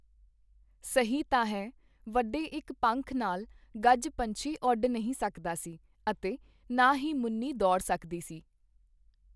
ਸਹੀ ਤਾਂ ਹੈ, ਵੱਡੇ ਇੱਕ ਪੰਖ ਨਾਲ ਗੱਜਪੰਛੀ ਓੱਡ ਨਹੀਂ ਸਕਦਾ ਸੀ ਅਤੇ ਨਾਂ ਹੀ ਮੁੰਨੀ ਦੌੜ ਸਕਦੀ ਸੀ